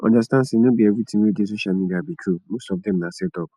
understand sey no be everything wey dey social media be true most of dem na set up